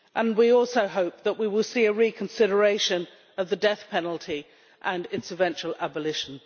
We also hope that we will see a reconsideration of the death penalty and its eventual abolition.